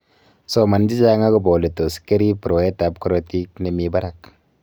soman chechang agoba ole tos kerib rwaetab korotik ne mi barak